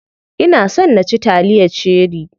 Ina son na ci taliyar cherie.